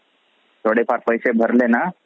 थोडे फार पैसे भरले ना